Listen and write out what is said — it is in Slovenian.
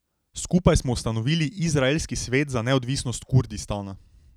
Skupaj smo ustanovili Izraelski svet za neodvisnost Kurdistana.